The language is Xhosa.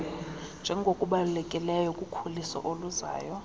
njengokubalulekileyo kukhuliso oluzayo